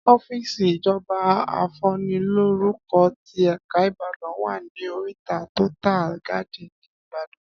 Ọ́fìsì ìjọba afúnilórúkọ tí èka ìbàdàn wa ní oríta tótà gádìn ní ìbàdàn